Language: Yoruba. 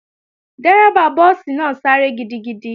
Dérẹ́bà búùsì náà sáré gidigidi